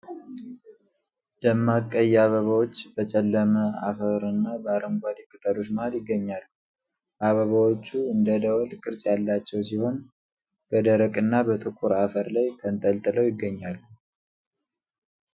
ደማቅ ቀይ አበባዎች በጨለመ አፈርና በአረንጓዴ ቅጠሎች መሀል ይገኛሉ። አበባዎቹ እንደ ደወል ቅርጽ ያላቸው ሲሆን፣ በደረቅ እና ጥቁር አፈር ላይ ተንጠልጥለው ይገኛሉ።